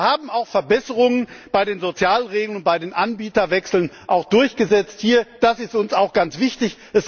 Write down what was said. Wir haben auch Verbesserungen bei den Sozialregeln und bei den Anbieterwechseln durchgesetzt. Das ist uns auch ganz wichtig.